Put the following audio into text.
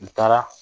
N taara